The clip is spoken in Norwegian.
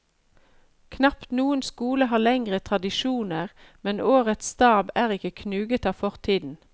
Knapt noen skole har lengre tradisjoner, men årets stab er ikke knuget av fortiden.